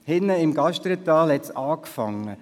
Hinten im Gasterntal hat es angefangen: